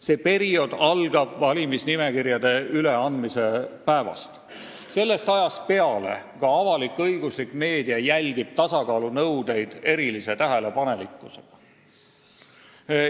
See periood algab valimisnimekirjade üleandmise päevast ja sellest ajast peale jälgib ka avalik-õiguslik meedia tasakaalunõudeid erilise tähelepanelikkusega.